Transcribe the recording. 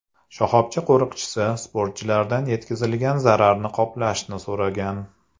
Shoxobcha qo‘riqchisi sportchilardan yetkazilgan zararni qoplashni so‘ragan.